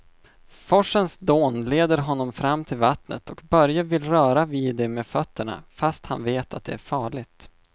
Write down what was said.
Forsens dån leder honom fram till vattnet och Börje vill röra vid det med fötterna, fast han vet att det är farligt.